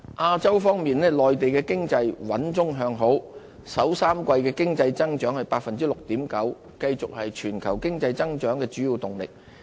亞洲方面，內地經濟穩中向好，首3季經濟增長 6.9%， 繼續是全球經濟增長的主要動力。